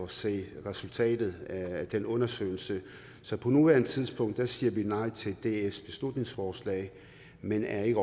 se resultatet af den undersøgelse så på nuværende tidspunkt siger vi nej til dfs beslutningsforslag men er